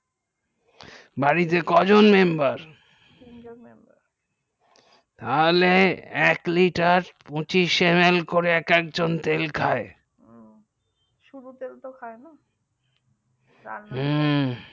বাড়িতে কজন member তাহলে এক liter পঁচিশ mm করে তেল খাই ও শুধু তেল তো খাইনা রান্না করে হু